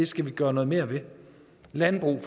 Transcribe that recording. skal gøre noget mere ved for landbrug